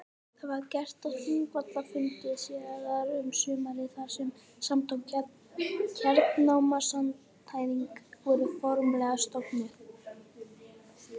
Það var gert á Þingvallafundi síðar um sumarið þar sem Samtök hernámsandstæðinga voru formlega stofnuð.